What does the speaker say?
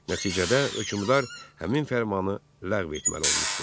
Nəticədə hökmdar həmin fərmanı ləğv etməli olmuşdu.